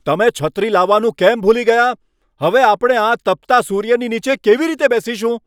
તમે છત્રી લાવવાનું કેમ ભૂલી ગયા? હવે આપણે આ તપતા સૂર્યની નીચે કેવી રીતે બેસીશું?